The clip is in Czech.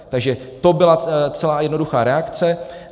Takže to byla celá jednoduchá reakce.